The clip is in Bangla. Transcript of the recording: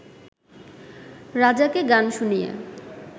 রাজাকে গান শুনিয়ে